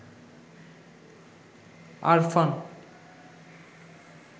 Arfan